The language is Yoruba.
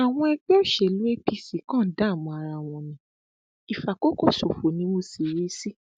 àwọn ẹgbẹ òṣèlú apc kan ń dààmú ara wọn ní ìfàkókòṣòfò ni mo sì rí i sí